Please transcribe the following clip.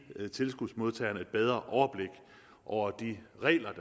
tilskudsmodtagerne et bedre overblik over de regler